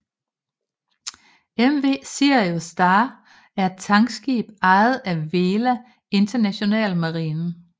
MV Sirius Star er et tankskib ejet af Vela International Marine